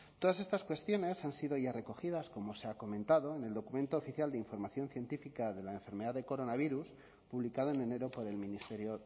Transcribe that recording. todas estas cuestiones han sido ya recogidas como se ha comentado en el documento oficial de información científica de la enfermedad de coronavirus publicada en enero por el ministerio